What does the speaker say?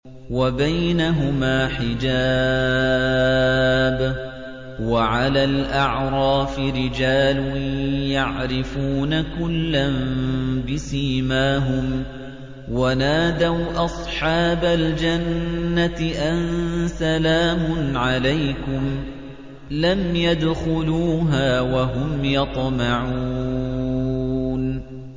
وَبَيْنَهُمَا حِجَابٌ ۚ وَعَلَى الْأَعْرَافِ رِجَالٌ يَعْرِفُونَ كُلًّا بِسِيمَاهُمْ ۚ وَنَادَوْا أَصْحَابَ الْجَنَّةِ أَن سَلَامٌ عَلَيْكُمْ ۚ لَمْ يَدْخُلُوهَا وَهُمْ يَطْمَعُونَ